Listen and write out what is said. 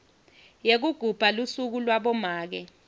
yekugubha lusuku labomake